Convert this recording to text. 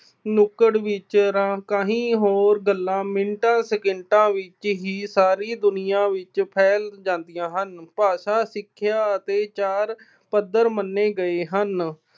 ਨੁੱਕੜ ਵਿੱਚ ਗੱਲਾਂ ਮਿੰਟਾਂ, ਸਕਿੰਟਾਂ ਵਿੱਚ ਹੀ ਸਾਰੀ ਦੁਨੀਆਂ ਵਿੱਚ ਫੈਲ ਜਾਂਦੀਆਂ ਹਨ। ਭਾਸ਼ਾ, ਸਿੱਖਿਆ ਅਤੇ ਚਾਰ ਪੱਧਰ ਮੰਨੇ ਗਏ ਹਨ।